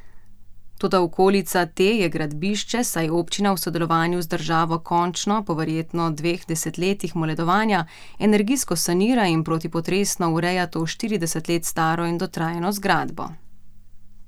Toda okolica te je gradbišče, saj občina v sodelovanju z državo končno, po verjetno dveh desetletjih moledovanja, energijsko sanira in protipotresno ureja to štirideset let staro in dotrajano zgradbo.